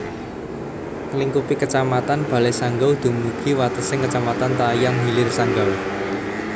Nglingkupi Kecamatan Balai Sanggau dumugi watesing Kecamatan Tayan Hilir Sanggau